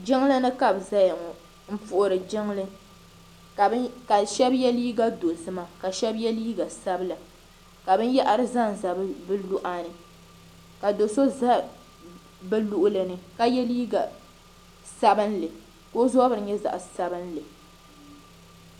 Jiŋlini ka bɛ zaya ŋɔ m puhiri jiŋli ka sheba ye liiga dozima ka sheba ye liiga sabila ka binyahari zanza bɛ luɣani ka do'so za bɛ luɣulini ka ye liiga sabinli ka o zabiri nyɛ zaɣa sabinli.